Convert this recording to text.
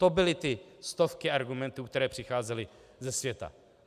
To byly ty stovky argumentů, které přicházely ze světa.